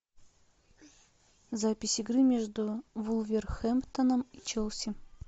запись игры между вулверхэмптоном и челси